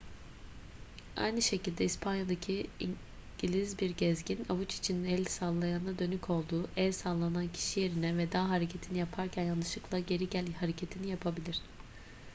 aynı şekilde i̇spanya'daki i̇ngiliz bir gezgin avuç içinin el sallayana dönük olduğu el sallanan kişi yerine veda hareketini yaparken yanlışlıkla geri gel hareketini yapabilir